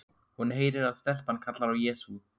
Hún heyrir að stelpan kallar á Jesú.